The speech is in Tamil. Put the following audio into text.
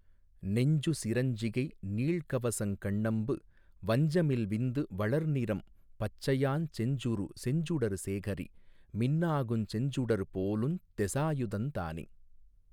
நெஞ்சு சிரஞ்சிகை நீள்கவசங் கண்ணம்பு வஞ்சமில் விந்து வளர்நிறம் பச்சையாஞ் செஞ்சுறு செஞ்சுடர் சேகரி மின்னாகுஞ் செஞ்சுடர் போலுந் தெசாயுதந்தானே.